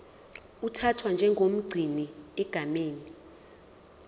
uthathwa njengomgcini egameni